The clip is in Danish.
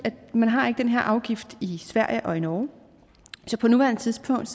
man ikke har den her afgift i sverige og i norge så på nuværende tidspunkt